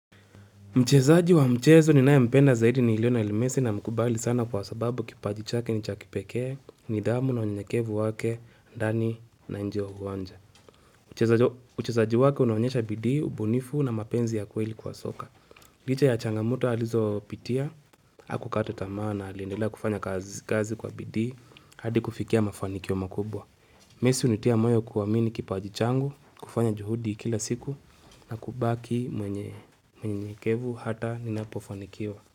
Mchezaji wa mchezo ninayempenda zaidi ni lionel mesi namkubali sana kwa sababu kipaji chake ni cha kipekee nidhamu na unyenyekevu wake ndani na nje ya uwanja. Uchezaji wake unaonyesha bidii, ubunifu na mapenzi ya kweli kwa soka. Licha ya changamoto alizopitia, hakukata tamaa na aliendela kufanya kazi kwa bidii hadi kufikia mafanikio makubwa. Messi hunitia moyo kuamini kipaji changu, kufanya juhudi kila siku na kubaki mwenye unyenyekevu hata ninapofanikiwa.